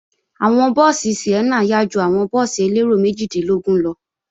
Àwọn búùsì Sienna yá ju àwọn búùsì elérò méjìdínlógún lọ